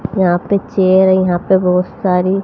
यहां पे चेयर यहां पे बहुत सारी--